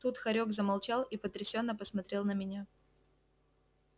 тут хорёк замолчал и потрясенно посмотрел на меня